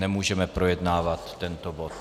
Nemůžeme projednávat tento bod.